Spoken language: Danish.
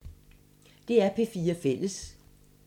DR P4 Fælles